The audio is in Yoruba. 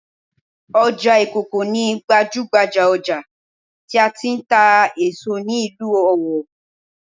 Ọjà ìkòkò ni gbajúhbajà ọjà tí a ti ń tà èso ní ìlú Ọ̀wọ̀